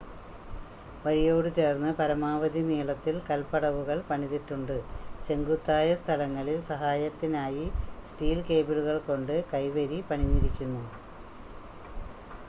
വഴിയോട് ചേർന്ന് പരമാവധി നീളത്തിൽ കൽപടവുകൾ പണിതിട്ടുണ്ട് ചെങ്കുത്തായ സ്ഥലങ്ങളിൽ സഹായത്തിനായി സ്റ്റീൽ കേബിളുകൾകൊണ്ട് കൈവരി പണിഞ്ഞിരിക്കുന്നു